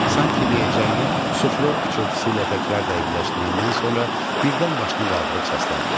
Sanki deyəcəyini suflyor pıçıltısı ilə təkrar dəqiqləşdirəndən sonra birdən başını qaldırıb səsləndi.